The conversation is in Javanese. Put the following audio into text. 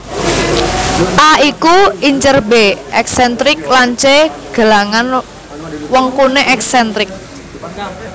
A iku incer B èksèntrik lan C gelangan wengkuné èksèntrik